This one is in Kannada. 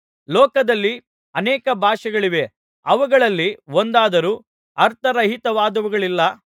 ಲೋಕದಲ್ಲಿ ಅನೇಕ ಭಾಷೆಗಳಿವೆ ಅವುಗಳಲ್ಲಿ ಒಂದಾದರೂ ಅರ್ಥರಹಿತವಾದವುಗಳಿಲ್ಲ